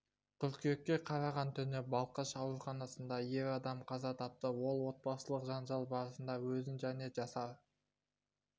қыркүйекке қараған түні балқаш ауруханасында ер адам қаза тапты ол отбасылық жанжал барысында өзін және жасар